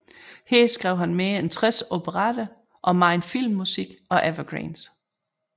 Her skrev han mere end 60 operetter og megen filmmusik og Evergreens